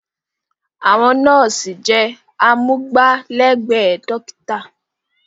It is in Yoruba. Àwọn nọ́ọ̀sì jẹ́ amúgbálẹ́gbẹ̀ẹ́ dọ́kítà.